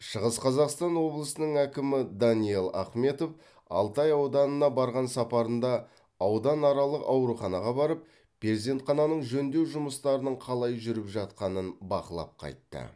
шығыс қазақстан облысының әкімі даниал ахметов алтай ауданына барған сапарында ауданаралық ауруханаға барып перзентхананың жөндеу жұмыстарының қалай жүріп жатқанын бақылап қайтты